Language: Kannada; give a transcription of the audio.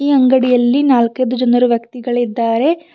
ಈ ಅಂಗಡಿಯಲ್ಲಿ ನಾಲ್ಕೈದು ಜನರು ವ್ಯಕ್ತಿಗಳಿದ್ದಾರೆ.